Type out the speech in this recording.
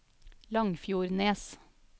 Langfjordnes